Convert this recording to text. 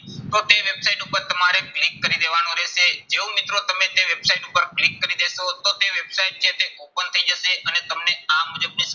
તો તે website ઉપર તમારે click કરી દેવાનું રહેશે. જો મિત્રો તમે તે website ઉપર click કરી દેશો તો તે website જે છે open થઇ જશે અને તમને આ મુજબની